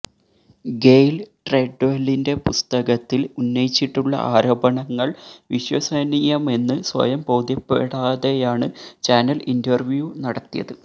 Gayle ട്രെഡ്വെലിന്റെ പുസ്തകത്തില് ഉന്നയിച്ചിട്ടുള്ള ആരോപണങ്ങള് വിശ്വസനീയമെന്ന് സ്വയം ബോധ്യപ്പെടാതെയാണ് ചാനല് ഇന്റര്വ്യു നടത്തിയത്